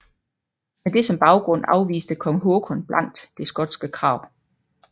Med det som baggrund afviste kong Håkon blankt det skotske krav